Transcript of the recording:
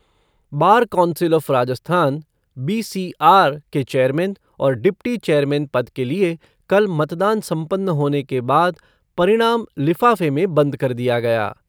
Bar council of Rajasthan BCR के chairman और deputy chairman पद के लिए कल मतदान सम्पन्न होने के बाद परिणाम लिफाफे में बंद कर दिया गया।